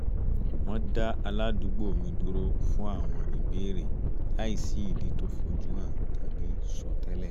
wọ́n dá aládùúgbò mi dúró fún àwọn ìbéèrè láìsí ìdí to fojú hàn tàbí sọ tẹ́lẹ̀